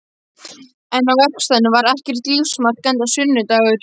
En á verkstæðinu var ekkert lífsmark enda sunnudagur.